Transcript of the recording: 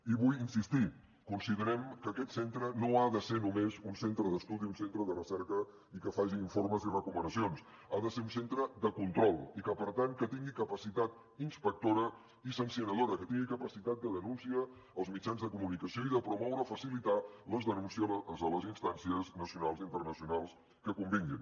i vull insistir hi considerem que aquest centre no ha de ser només un centre d’estudi un centre de recerca i que faci informes i recomanacions ha de ser un centre de control i per tant que tingui capacitat inspectora i sancionadora que tingui capacitat de denúncia als mitjans de comunicació i de promoure o facilitar les denúncies a les instàncies nacionals i internacionals que convinguin